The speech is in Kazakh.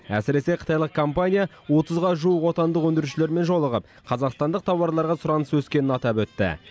әсіресе қытайлық компания отызға жуық отандық өндірушілермен жолығып қазақстандық тауарларға сұраныс өскенін атап өтті